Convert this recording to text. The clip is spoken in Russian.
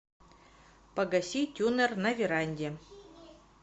погаси тюнер на веранде